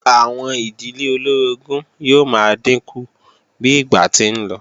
Àwọn ìdílé olóorogún yóò máa dínkù bí ìgbà ti ń lọ